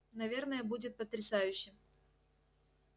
наверное будет потрясающе